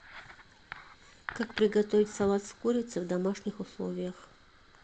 как приготовить салат с курицей в домашних условиях